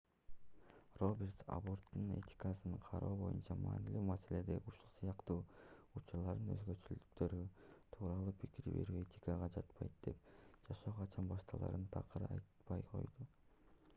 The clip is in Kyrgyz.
робертс абборттун этикасын кароо боюнча маанилүү маселеде ушул сыяктуу учурлардын өзгөчөлүктөрү тууралуу пикир берүү этикага жатпайт деп жашоо качан башталарын такыр айтпай койду